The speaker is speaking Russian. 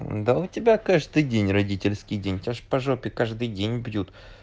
да у тебя каждый день родительский день тебя же по жопе каждый день бьют